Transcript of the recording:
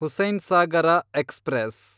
Hussainsagar express